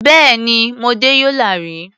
Bẹ́ẹ̀ni, mo dé Yola rí.